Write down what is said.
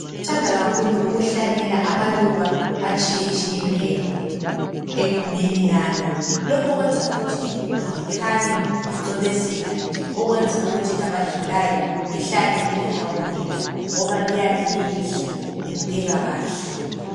Ngithanda kakhulu ukuhlanyela amaluba atshiye tshiyeneyo egumeni lami lokho kwenza ukuthi iguma likhanye licwebezela okwenza ukuthi labadlulayo behlale belihawukela ngoba liyabe lilihle libukeka kahle.